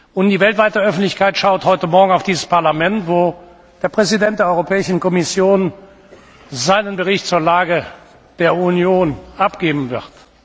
Und die weltweite Öffentlichkeit schaut heute Morgen auf dieses Parlament, wo der Präsident der Europäischen Kommission seinen Bericht zur Lage der Union abgeben wird.